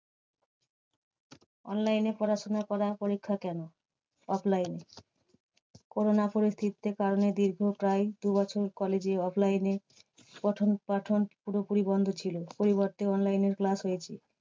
Online এ পড়াশোনা করা পরীক্ষা কেন offline এ? corona পরিস্থিতিতে কারণে, দীর্ঘ প্রায় দু বছর college এ offline এ পঠনপাঠন পুরোপুরি বন্ধ ছিল। পরিবর্তে online এ class হয়েছে।